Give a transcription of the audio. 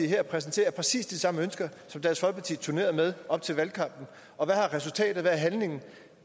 her præsenterer er præcis de samme ønsker som dansk folkeparti turnerede med op til valgkampen og hvad har resultatet været